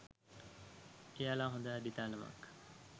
එයාලා හොඳ අඩිතාලමක්